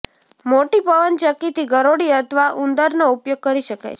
મોટી પવનચક્કીથી ગરોળી અથવા ઉંદરનો ઉપયોગ કરી શકાય છે